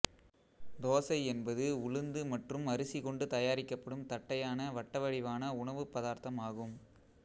தோசை என்பது உளுந்து மற்றும் அரிசி கொண்டு தயாரிக்கப்படும் தட்டையான வட்டவடிவான உணவுப் பதார்த்தம் ஆகும்